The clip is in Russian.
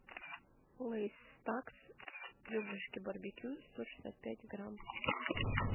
лэйз стакс ребрышки барбекю сто шестьдесят пять грамм